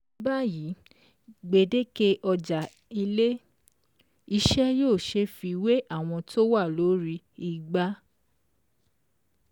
Ní báyìí, gbèdéke ọjà ilé-iṣẹ́ yóò ṣeé fiwé àwọn tó wà lórí igbá.